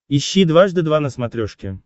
ищи дважды два на смотрешке